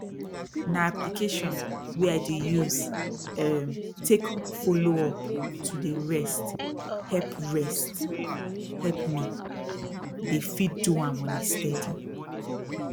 na application wey i dey use erm take follow up to dey rest help rest help me dey fit do am on a steady